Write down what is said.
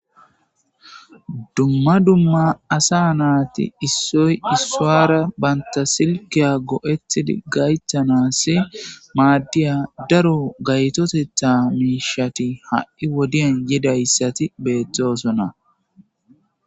dumma dumma asa naati issoy issuwara banta silkiya go7ethi gaythanassi maaddiya daro gaytotetha miishati ha7i wodiyan yidayssati beettoosona